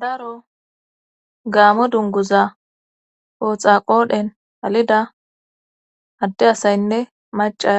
daro gaamo dunguza pooxa qoodhen halida adde asaynne maca